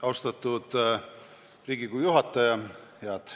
Austatud Riigikogu juhataja!